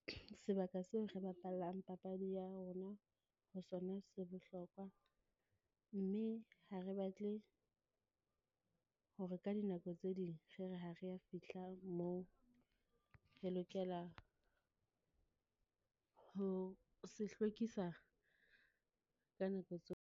Sebaka seo re bapallang papadi ya rona ho sona se bohlokwa, mme ha re batle hore ka dinako tse ding re re, ha re ya fihla moo. Re lokela ho se hlwekisa ka nako .